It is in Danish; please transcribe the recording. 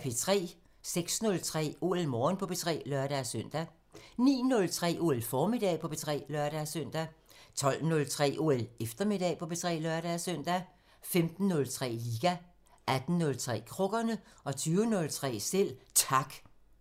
06:03: OL Morgen på P3 (lør-søn) 09:03: OL Formiddag på P3 (lør-søn) 12:03: OL Eftermiddag på P3 (lør-søn) 15:03: Liga 18:03: Krukkerne 20:03: Selv Tak